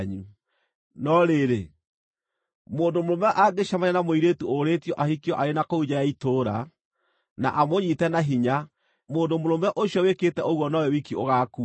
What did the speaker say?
No rĩrĩ, mũndũ mũrũme angĩcemania na mũirĩtu ũrĩĩtio ahikio arĩ na kũu nja ya itũũra, na amũnyiite na hinya, mũndũ mũrũme ũcio wĩkĩte ũguo nowe wiki ũgaakua.